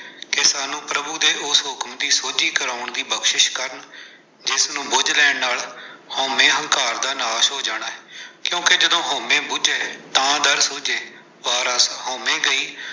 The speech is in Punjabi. ਕਿ ਸਾਨੂੰ ਪ੍ਰਭੂ ਦੇ ਉਸ ਹੁਕਮ ਦੀ ਸੋਝੀ ਕਰਾਉਣ ਦੀ ਬਖਸ਼ਿਸ਼ ਕਰਨ, ਜਿਸ ਨੂੰ ਬੁੱਝ ਲੈਣ ਨਾਲ ਹਉਮੈ-ਹੰਕਾਰ ਦਾ ਨਾਸ਼ ਹੋ ਜਾਣਾ ਹੈ, ਕਿਉਂਕਿ ਜਦੋਂ ਹਉਮੈ ਬੁਝੇ ਤਾ ਦਰ ਸੂਝੇ।